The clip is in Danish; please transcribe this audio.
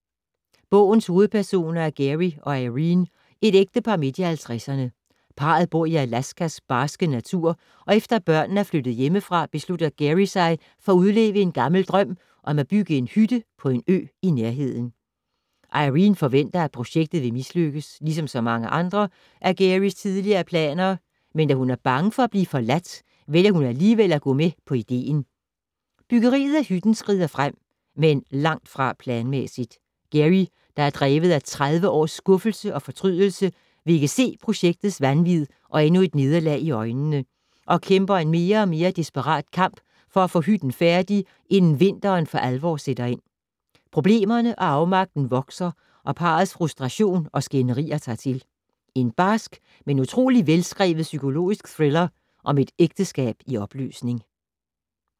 Bogens hovedpersoner er Gary og Irene, et ægtepar midt i 50’erne. Parret bor i Alaskas barske natur og efter børnene er flyttet hjemmefra, beslutter Gary sig for at udleve en gammel drøm om at bygge en hytte på en ø i nærheden. Irene forventer, at projektet vil mislykkes, ligesom mange andre af Garys tidligere planer, men da hun er bange for at blive forladt, vælger hun alligevel at gå med på ideen. Byggeriet af hytten skrider frem, men langt fra planmæssigt. Gary, der er drevet af tredive års skuffelse og fortrydelse, vil ikke se projektets vanvid og endnu et nederlag i øjnene og kæmper en mere og mere desperat kamp for at få hytten færdig, inden vinteren for alvor sætter ind. Problemerne og afmagten vokser og parrets frustration og skænderier tager til. En barsk, men utrolig velskrevet psykologisk thriller om et ægteskab i opløsning.